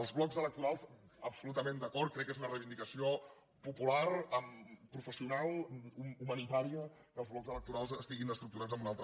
els blocs electorals absolutament d’acord crec que és una reivindicació popular professional humanitària que els blocs electorals estiguin estructurats en una altra